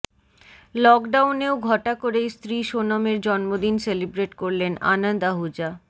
লকডাউনেও ঘটা করেই স্ত্রী সোনমের জন্মদিন সেলিব্রেট করলেন আনন্দ আহুজা